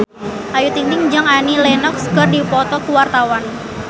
Ayu Ting-ting jeung Annie Lenox keur dipoto ku wartawan